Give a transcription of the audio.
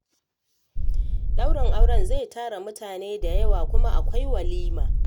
Ɗaurin auren zai tara mutane da yawa, kuma akwai walima